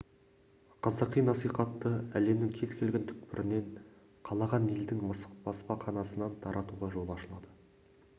қазақи насихатты әлемнің кез келген түкпірінен қалаған елдің баспаханасынан таратуға жол ашылады